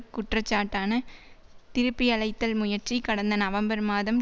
குற்றச்சாட்டான திருப்பியழைத்தல் முயற்சி கடந்த நவம்பர் மாதம்